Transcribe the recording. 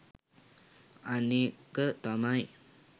අනෙක තමයි